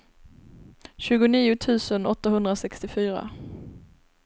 tjugonio tusen åttahundrasextiofyra